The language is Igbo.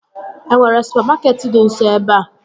E nwere supamakeetị dị nso ebea?